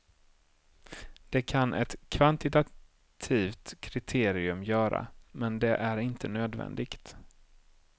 Det kan ett kvantitativt kriterium göra, men det är inte nödvändigt.